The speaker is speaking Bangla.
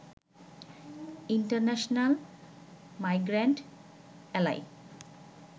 international migrant এ্যালাই